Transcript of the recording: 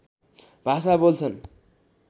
भाषा बोल्छन्